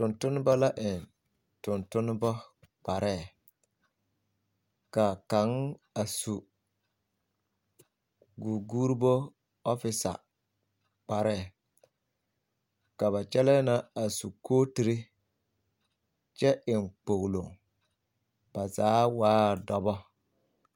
Tontonneba la eŋ tontonneba kpare ka kaŋ a su guguuribo fisa kpare ka ba gyɛlɛɛ na a su kootiri kyɛ eŋ kpoglo ba zaa waa dɔbɔ.